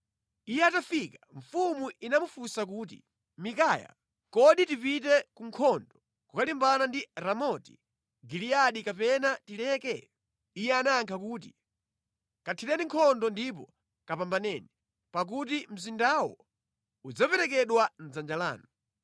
Iye atafika mfumu inamufunsa kuti, “Mikaya, kodi tipite ku nkhondo kukalimbana ndi Ramoti Giliyadi kapena tileke?” Iye anayankha kuti, “Kathireni nkhondo ndipo kapambaneni, pakuti mzindawo udzaperekedwa mʼdzanja lanu.”